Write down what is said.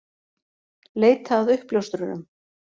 Leita að uppljóstrurum